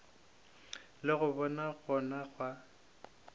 le go ba gona ga